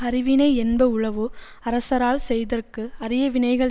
அருவினை என்ப உளவோ அரசரால் செய்தற்கு அரிய வினைகள்